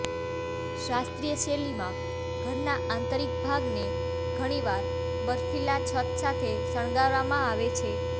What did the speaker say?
શાસ્ત્રીય શૈલીમાં ઘરના આંતરિક ભાગને ઘણીવાર બરફીલા છત સાથે શણગારવામાં આવે છે